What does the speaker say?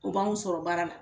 O b'anw sɔrɔ baara la